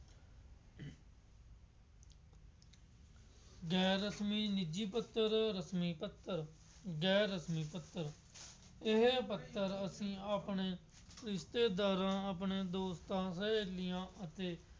ਗੈਰ ਰਸਮੀ ਨਿੱਜੀ ਪੱਤਰ, ਰਸਮੀ ਪੱਤਰ, ਗੈਰ ਰਸਮੀ ਪੱਤਰ, ਇਹ ਪੱਤਰ ਅਸੀਂ ਆਪਣੇ ਰਿਸ਼ਤੇਦਾਰਾਂ ਆਪਣੇ ਦੋਸਤਾਂ ਹਰੇਕ ਦੀਆਂ ਅਸੀਂ